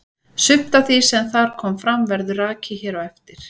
Sumt af því sem þar kom fram verður rakið hér á eftir.